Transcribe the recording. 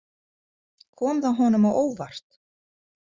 Kom það honum á óvart?